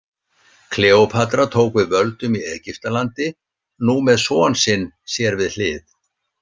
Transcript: Kleópatra tók við völdum í Egyptalandi, nú með son sinn sér við hlið.